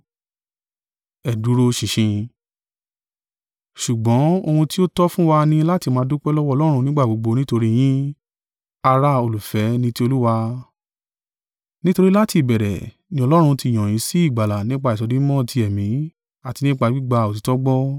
Ṣùgbọ́n, ohun tí ó tọ́ fún wa ni láti máa dúpẹ́ lọ́wọ́ Ọlọ́run nígbà gbogbo nítorí yín, ará olùfẹ́ ní ti Olúwa, nítorí láti ìbẹ̀rẹ̀ ni Ọlọ́run ti yàn yín sí ìgbàlà nípa ìsọdimímọ́ ti Ẹ̀mí àti nípa gbígba òtítọ́ gbọ́.